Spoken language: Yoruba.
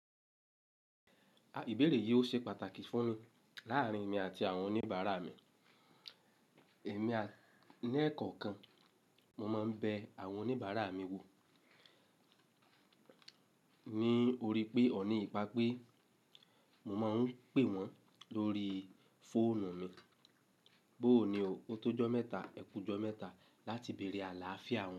Ìbéèrè yìí ó ṣe pàtàkì fún mi láàrín emi àti àwọn oníbàárà mi. Èmi ní ẹ̀ẹ̀kọ̀kan, mo máa ń bẹ àwọn oníbàárà mi wò. Ní ori pé ọ̀ní ìbà pé mo máa ń pè wọ́n lórí fóònù mi. Bóò ní òótọ́jọ́ mẹ́ta, ẹkújọ́ mẹ́ta láti bèèrè àláàfíà wọn.